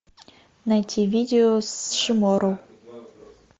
найти видео с шиморо